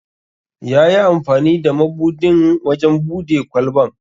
Yayi amfani da mabudin wajen bude kwalban.